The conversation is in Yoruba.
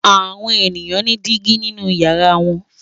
Àwọn ènìyàn ní dígí nínú ìyàrá wọn.